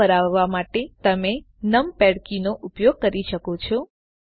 view ફરાવવા માટે તમે નમપૅડ કીઓનો ઉપયોગ પણ કરી શકો છો